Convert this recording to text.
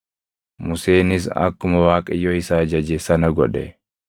Museenis akkuma Waaqayyo isa ajaje sana godhe.